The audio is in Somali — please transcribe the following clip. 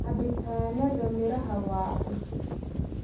Cabitaanada miraha waa cusub